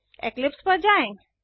Eclipse पर जाएँ